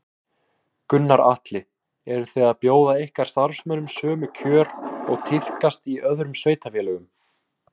Gunnar Atli: Eru þið að bjóða ykkar starfsmönnum sömu kjör og tíðkast í öðrum sveitarfélögum?